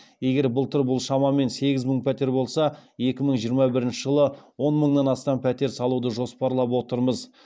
егер былтыр бұл шамамен сегіз мың пәтер болса екі мың жиырма бірінші жылы он мыңнан астам пәтер салуды жоспарлап отырмыз